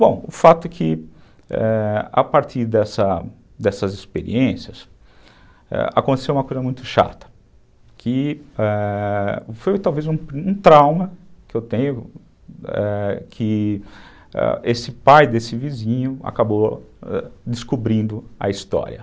Bom, o fato é que, ãh, a partir dessas experiências, ãh, aconteceu uma coisa muito chata, que foi talvez um trauma que eu tenho, ãh, que esse pai desse vizinho, ãh, acabou descobrindo a história.